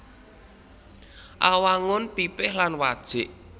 Awangun pipih lan wajik